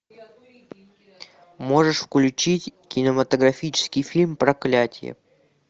можешь включить кинематографический фильм проклятие